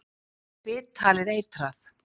Er það bit talið eitrað.